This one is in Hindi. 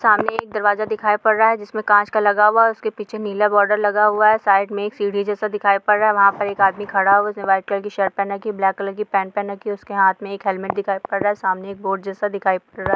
सामने एक दरवाजा दिखाई पड़ रहा है जिसमें कांच का लग हुआ है उसके पीछे नीला बॉर्डर लगा हुआ है| साइड में एक सीढ़ी जैसा दिखाई पड़ रहा है| वहाँ पर एक आदमी खड़ा है उसने वाइट कलर की शर्ट पहना रखी ब्लैक कलर की पेंट पहन रखी | उसके हाथ में एक हेलमेट दिखाई पड़ रहा है| सामने एक बोर्ड जैसा दिखाई पड़ रहा है।